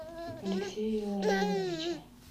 алексея илларионовича